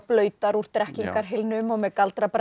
blautar úr Drekkingarhylnum og með